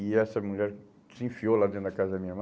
E essa mulher se enfiou lá dentro da casa da minha irmã.